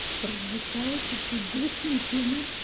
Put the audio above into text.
прозвучало чуть-чуть двусмысленно